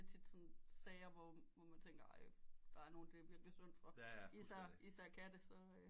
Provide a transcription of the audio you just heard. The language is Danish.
Tit sådan sager hvor man tænker ej der er nogen der bliver det synd for især katte